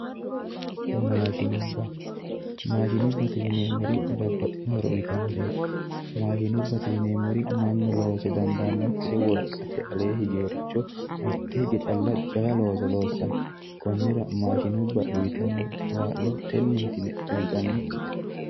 maashinubba mashinubbate yineemmori babbaxitinno horo uyitannoreti mashinubbate yineemmori mannu loose dandaannokiricho wolqate alee higeeworicho mitte hige calla jawa looso loossanno konnira mashsinubba uyitanno kaa'lo tenneeti yine kullannikite